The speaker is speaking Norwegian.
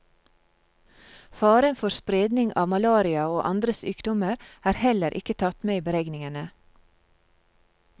Faren for spredning av malaria og andre sykdommer er heller ikke tatt med i beregningene.